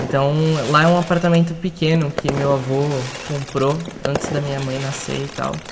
Então, lá é um apartamento pequeno que meu avô comprou antes da minha mãe nascer e tal.